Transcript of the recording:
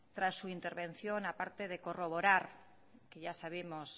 tras su intervención a parte de corroborar que ya sabemos